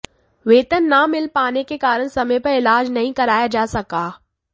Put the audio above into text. वेतन ना मिल पाने के कारण समय पर इलाज नहीं कराया जा सका